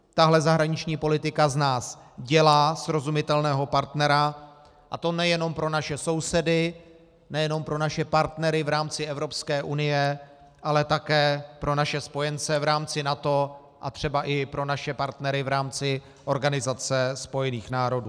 Tahle zahraniční politika z nás dělá srozumitelného partnera, a to nejenom pro naše sousedy, nejenom pro naše partnery v rámci Evropské unie, ale také pro naše spojence v rámci NATO a třeba i pro naše partnery v rámci Organizace spojených národů.